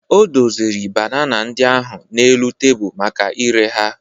O doziri banana ndị ahụ n'elu tebụl maka ire ha.